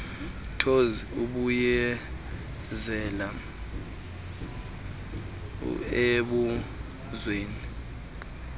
thozi buyela embuzweni